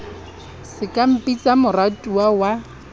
se ka mpitsa moratuwa wa